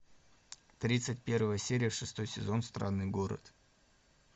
тридцать первая серия шестой сезон странный город